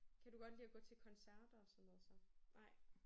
Kan du godt lide at gå til koncerter og sådan noget så? Nej